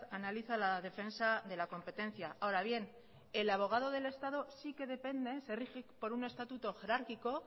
analiza la defensa de la competencia ahora bien el abogado del estado sí que se rige por un estatuto jerárquico